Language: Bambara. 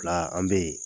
Fila an bɛ yen